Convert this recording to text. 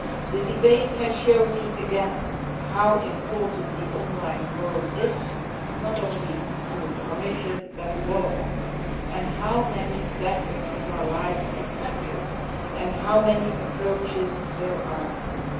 The debate has shown me again just how important the online world is, not only to the Commission but to all of us and how many facets of our lives it touches, and how many approaches there are to it.